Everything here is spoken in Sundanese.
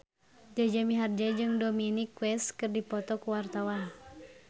Jaja Mihardja jeung Dominic West keur dipoto ku wartawan